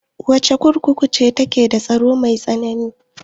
Wace kurkuku ce take da tsaro mai tsanani?